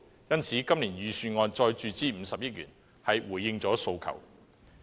因此，今年預算案再注資50億元是回應了訴求。